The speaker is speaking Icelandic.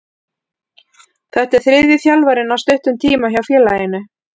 Þetta er þriðji þjálfarinn á stuttum tíma hjá félaginu.